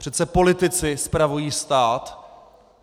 Přece politici spravují stát.